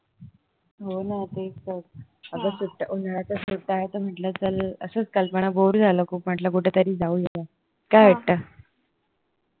हो ना तेच तर अगं उन्हाळयाच्या सुट्ट्या आहे तर म्हटलं चल असच कल्पना बोर झालं खूप म्हटलं कुठे तरी जाऊया काय वाटत